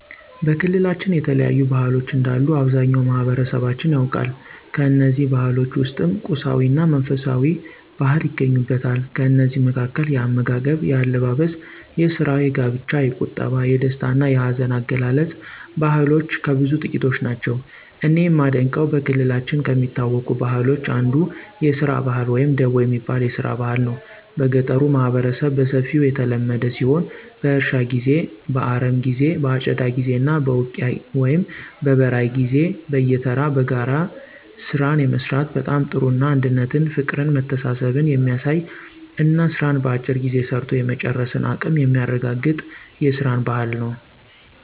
በክልላችን የተለያዩ ባህሎች እንዳሉ አብዛኛው ማህበረሠባችን ያውቃል። ከእነዚህ ባህሎች ውስጥም ቁሳዊ እና መንፈሳዊ ባህል ይገኙበታል። ከእነዚህ መካከል፦ የአመጋገብ፣ የአለባበስ፣ የስራ፣ የጋብቻ፣ የቁጠባ፣ የደስታ እና የሀዘን አገላለፅ ባህልሎች ከብዙ ጥቂቶቹ ናቸው። እኔ የማደንቀው በክልላችን ከሚታወቁ ባህሎች አንዱ የስራ ባህል ወይም ደቦ የሚባል የስራ ባህል ነው። በገጠሩ ማህበረሠብ በሰፊው የተለመደ ሲሆን በእርሻ ጊዜ፣ በአረሞ ጊዜ በአጨዳ ጊዜ እና በውቂያ ወይም በበራይ ጊዜ በየተራ በጋራ ስራን የመስራት በጣም ጥሩ እና አንድነትን ፍቅርን መተሳሠብን የሚያሳይ እና ስራን በአጭር ጊዜ ሰርቶ የመጨረስን አቀም የሚያረጋገጥ የስራን ባህል ነው።